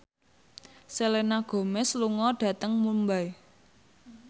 Selena Gomez lunga dhateng Mumbai